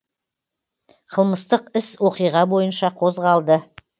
қылмыстық іс оқиға бойынша қозғалды